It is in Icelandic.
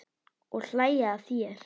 Og hlæja að þér.